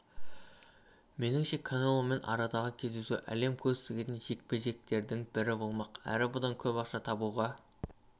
меніңше канеломен арадағы кездесуі әлем көз тігетін жек-жектердің бірі болмақ әрі бұдан көп ақша да табуға